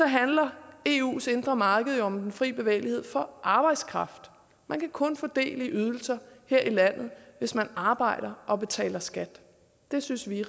handler eus indre marked jo om den fri bevægelighed for arbejdskraften man kan kun få del i ydelser her i landet hvis man arbejder og betaler skat det synes vi